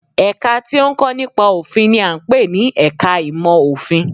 Ẹ̀ka tí ó ń kọ́ nípa òfin n i à ń pè ní ẹka ìmọ̀ òfin